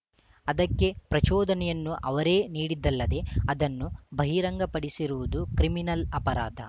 ಅದಕ್ಕೆ ಪ್ರಚೋದನೆಯನ್ನು ಅವರೇ ನೀಡಿದ್ದಲ್ಲದೆ ಅದನ್ನು ಬಹಿರಂಗ ಪಡಿಸಿರುವುದು ಕ್ರಿಮಿನಲ್‌ ಅಪರಾಧ